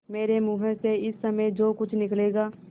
मेरे मुँह से इस समय जो कुछ निकलेगा